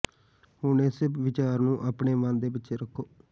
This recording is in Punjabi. ਹੁਣ ਇਸ ਵਿਚਾਰ ਨੂੰ ਆਪਣੇ ਮਨ ਦੇ ਪਿੱਛੇ ਰੱਖੋ